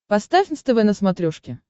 поставь нств на смотрешке